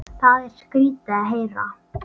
Það er skrýtið að heyra.